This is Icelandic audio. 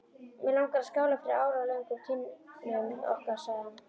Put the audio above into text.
Mig langar að skála fyrir áralöngum kynnum okkar sagði hann.